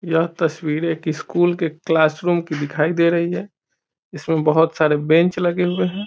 यह तस्वीर एक स्कूल के क्लास रूम की दिखाई दे रही है इसमें बहुत सारे बेंच लगे हुए हैं।